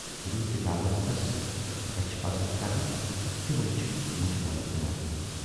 یِمن کِتابَن تَس رچھِ پَزٕہَن کَرنہِ، تِمٕے چھُ مُجہِ مٔلۍ کٕنان۔